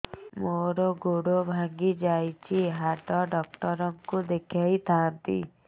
ମୋର ଗୋଡ ଭାଙ୍ଗି ଯାଇଛି ହାଡ ଡକ୍ଟର ଙ୍କୁ ଦେଖେଇ ଥାନ୍ତି